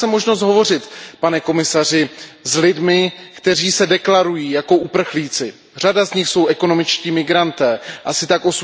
A měl jsem možnost hovořit, pane komisaři, s lidmi, kteří se deklarují jako uprchlíci, řada z nich jsou ekonomičtí migranti, asi tak